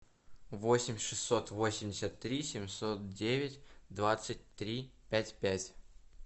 восемь шестьсот восемьдесят три семьсот девять двадцать три пять пять